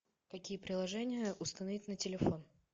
какие приложения установить на телефон